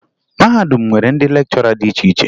Mahadum nwere ndị lekchọra dị iche iche